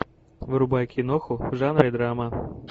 врубай киноху в жанре драма